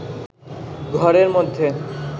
ঘরের মধ্যে